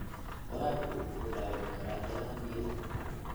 Waraabku wuxuu dhaawici karaa ilaha biyaha.